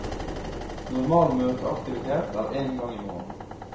Normal møteaktivitet er én gang i måneden.